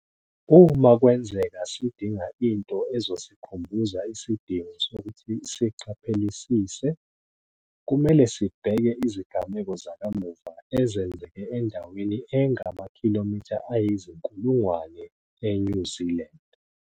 Uma kwenzeka sidinga into ezosikhumbuza isidingo sokuthi siqaphelisise, kumele sibheke izigameko zakamuva ezenzeke endaweni engamakhilomitha ayizinku lungwane e-New Zealand.